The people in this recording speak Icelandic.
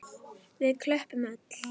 Við klöppum öll.